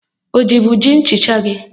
Ọ jibu ji nchịcha gị?